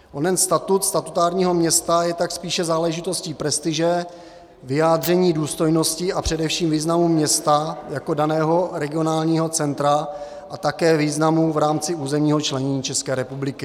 Onen statut statutárního města je tak spíše záležitostí prestiže, vyjádření důstojnosti a především významu města jako daného regionálního centra a také významu v rámci územního členění České republiky.